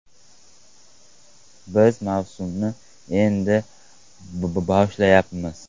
Biz mavsumni endi boshlayapmiz.